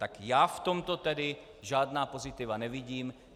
Tak já v tomto tedy žádná pozitiva nevidím.